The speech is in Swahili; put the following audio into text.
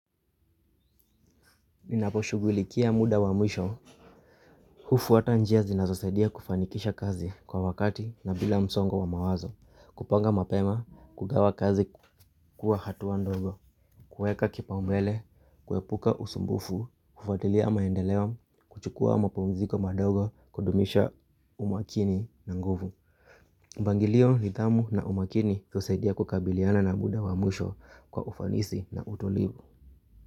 Ninaposhughulikia muda wa mwisho. Hufuata njia zinazosadia kufanikisha kazi kwa wakati na bila msongo wa mawazo. Kupanga mapema, kugawa kazi kukuwa hatua ndogo. Kuweka kipaumbele, kuepuka usumbufu, kufuatilia maendeleo, kuchukua mapumziko madogo kudumisha umakini na nguvu. Mpangilio nidhamu na umakini husaidia kukabiliana na muda wa mwisho kwa ufanisi na utulivu.